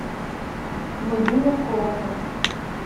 владимир колосов